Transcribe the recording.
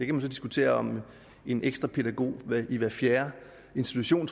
kan så diskutere om en ekstra pædagog i hver fjerde institution